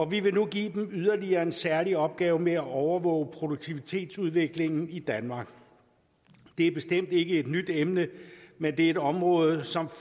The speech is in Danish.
vi vil nu give dem yderligere en særlig opgave med at overvåge produktivitetsudviklingen i danmark det er bestemt ikke et nyt emne men det er et område som